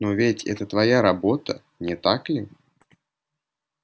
но ведь это твоя работа не так ли